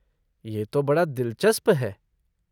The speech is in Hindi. ये तो बड़ा दिलचस्प है।